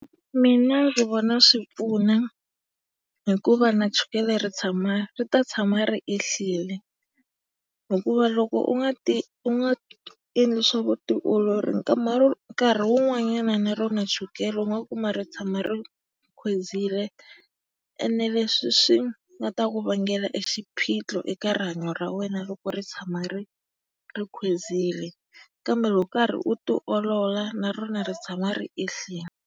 Mina ndzi vona swi pfuna, hikuva na chukele ri tshama ri ta tshama ri ehlile. Hikuva loko u nga ti u nga endli swa vutiolori nkarhi wun'wanyana na rona chukele u nga kuma ri khwezile ene leswi swi nga ta ku vangela exiphiqo eka rihanyo ra wena loko ri tshama ri khwezile. Kambe loko u karhi u tiolola na rona ri tshama ri ehlile.